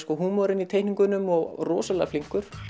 húmorinn í teikningunum og rosalega flinkur